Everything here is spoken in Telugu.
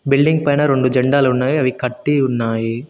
బిల్డింగ్ పైన రొండు జెండాలు ఉన్నాయి అవి కట్టి ఉన్నాయి.